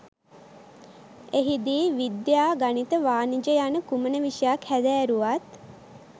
එහිදී විද්‍යා ගණිත වාණිජ යන කුමන විෂයක් හැදෑරුවත්